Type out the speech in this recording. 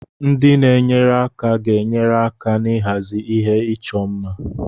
Ndị na-enyere aka ga-enyere aka n'ịhazi ihe ịchọ mma.